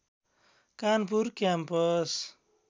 Kanpur campus